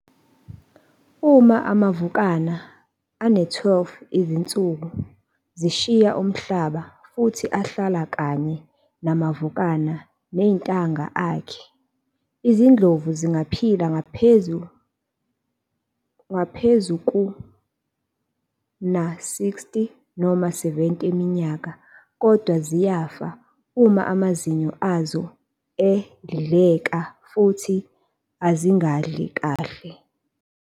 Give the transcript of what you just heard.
Uma amavukana ane-12 izinsuku zishiye umhlambi futhi ahlala kanye namavukana nentanga akhe. Izindlovu zingaphila ngaphezu kuna-60 noma 70 iminyaka kodwa ziyafa uma amazinyo azo edleka futhi azingadli kahle.